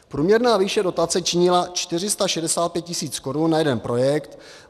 Průměrná výše dotace činila 465 000 korun na jeden projekt.